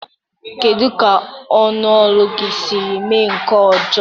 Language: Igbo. Kedu ka ọnụ ụlọ gị siri mee nke ọjọọ?